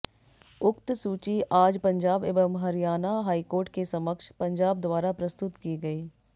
उक्त सूची आज पंजाब एवं हरियाणा हाईकोर्ट के समक्ष पंजाब द्वारा प्रस्तुत की गई